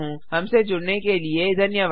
हमसे जुड़ने के लिए धन्यवाद